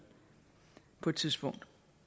på et tidspunkt